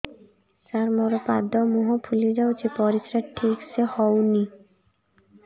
ସାର ମୋରୋ ପାଦ ମୁହଁ ଫୁଲିଯାଉଛି ପରିଶ୍ରା ଠିକ ସେ ହଉନି